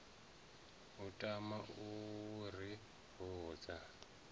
u tama u ri vhudza